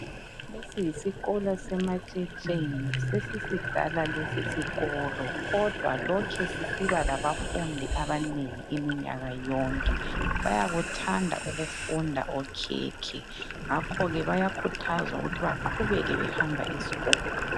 Lesi yisikolo seMatshetsheni, sesisidala lesi sikolo kodwa lokhe sisiba labafundi abanengi iminyaka yonke. Bayakuthanda ukufunda okhekhe ngakho ke bayakhuthazwa ukuthi baqhubeke behamba esikolo.